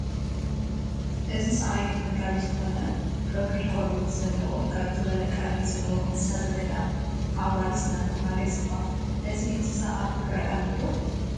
እዚ ሳዕሪ ተመጋቢ ዝኾነ ረጒድ ቆርበት ዘለዎ፣ ቀጥ ዝበለ ቀርኒ ዘለዎ እንስሳ ዘገዳም ኣውራሪስ እናተባህለ ይፅዋዕ፡፡ እዚ እንስሳ ኣብ ትግራይ ኣሎ?